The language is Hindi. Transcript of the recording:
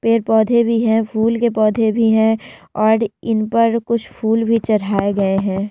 पेड़-पौधे भी है फुल के पौधे भी है और इनपर कुछ फुल भी चढ़ये गए है।